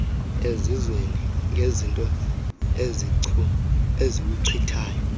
esizweni ngeezinto eziwuchithayo